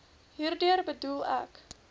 hierdeur bedoel ek